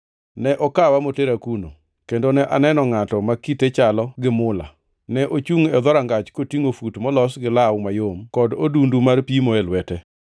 Ne okawa motera kuno, kendo ne aneno ngʼato ma kite chalo gi mula; ne ochungʼ e dhorangach kotingʼo fut molos gi law mayom kod odundu mar pimo e lwete.